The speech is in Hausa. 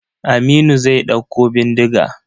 Aminu zai ɗauko bindiga.